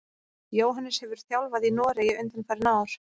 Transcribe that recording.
Jóhannes hefur þjálfað í Noregi undanfarin ár.